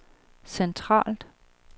centralt